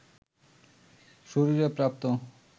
শরীরে প্রাপ্ত